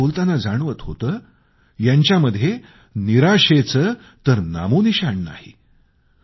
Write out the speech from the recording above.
त्यांच्याशी बोलताना मला जाणवत होतं यांच्यामध्ये निराशेचं तर नामोनिशाण नाही